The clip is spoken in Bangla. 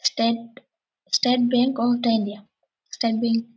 state state bank of | state bank --